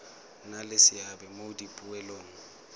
nna le seabe mo dipoelong